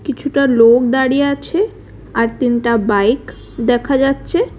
কিছুটা লোক দাঁড়িয়ে আছে আর তিনটা বাইক দেখা যাচ্ছে।